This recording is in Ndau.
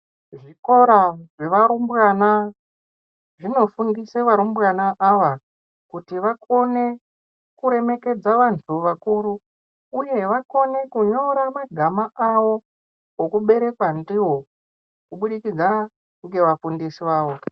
Zvikora zvevarumbwana zvinofundise varumbwana avakuti vakone kuremekedza vantu vakuru uye vakone kunyora magama avo ekuberekwa ndivo kubudikidza ngevafundisi vavo.